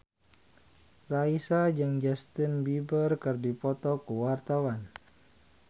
Raisa jeung Justin Beiber keur dipoto ku wartawan